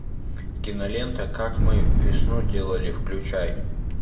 кинолента как мы весну делали включай